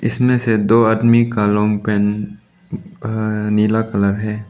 इसमें से दो आदमी का लॉन्ग पेंट नीला कलर है।